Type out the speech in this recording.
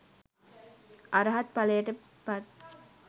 අරහත් ඵලයට පත්